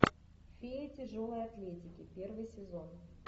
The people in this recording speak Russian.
фея тяжелой атлетики первый сезон